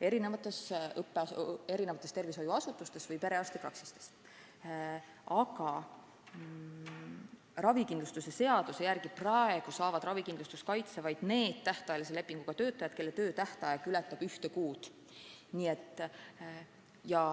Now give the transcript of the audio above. erinevates tervishoiuasutustes, sh perearstipraksistes, aga ravikindlustuse seaduse järgi saavad praegu ravikindlustuskaitse vaid need tähtajalise lepinguga töötajad, kelle töö tähtaeg ületab ühte kuud.